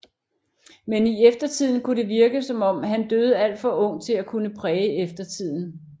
Men i eftertiden kunne det virke som om han døde alt for ung til at kunne præge eftertiden